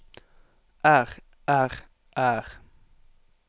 er er er